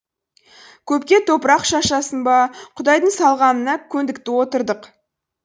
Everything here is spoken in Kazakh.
көпке топырақ шашасың ба құдайдың салғанына көндік та отырдық